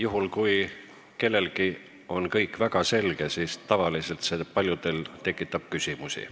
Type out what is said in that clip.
Aga see, kui kellelegi on kõik väga selge, tekitab tavaliselt paljudes küsimusi.